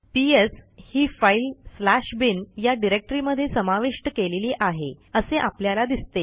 PS ही file bin या डिरेक्टरीमध्ये समाविष्ट केलेली आहे असे आपल्याला दिसते